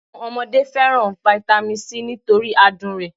Àwọn ọmọdé fẹ́ràn fitami s nítorí adùn rẹ̀